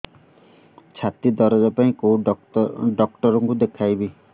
ଛାତି ଦରଜ ପାଇଁ କୋଉ ଡକ୍ଟର କୁ ଦେଖେଇବି